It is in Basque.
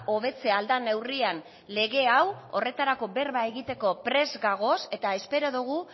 hobetzea ahal den neurrian lege hau horretarako berba egiteko prest gaude eta espero dugu